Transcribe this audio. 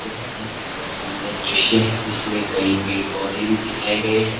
यह एक बहोत सुंदर दृश्य है जिसमें कई पेड़ पौधे भी दिखाए गए हैं।